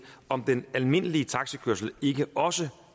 om den almindelige taxikørsel ikke også